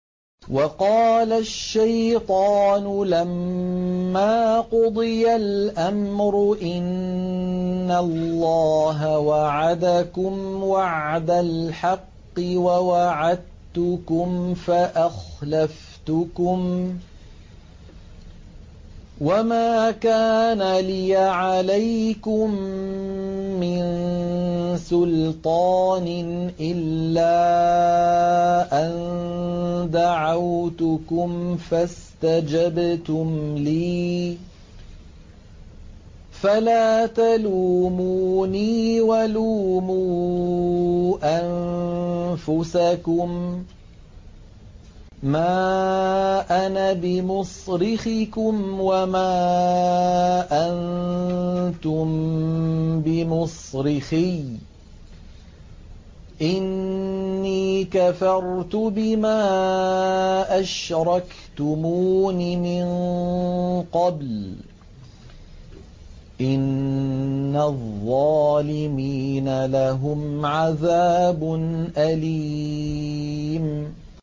وَقَالَ الشَّيْطَانُ لَمَّا قُضِيَ الْأَمْرُ إِنَّ اللَّهَ وَعَدَكُمْ وَعْدَ الْحَقِّ وَوَعَدتُّكُمْ فَأَخْلَفْتُكُمْ ۖ وَمَا كَانَ لِيَ عَلَيْكُم مِّن سُلْطَانٍ إِلَّا أَن دَعَوْتُكُمْ فَاسْتَجَبْتُمْ لِي ۖ فَلَا تَلُومُونِي وَلُومُوا أَنفُسَكُم ۖ مَّا أَنَا بِمُصْرِخِكُمْ وَمَا أَنتُم بِمُصْرِخِيَّ ۖ إِنِّي كَفَرْتُ بِمَا أَشْرَكْتُمُونِ مِن قَبْلُ ۗ إِنَّ الظَّالِمِينَ لَهُمْ عَذَابٌ أَلِيمٌ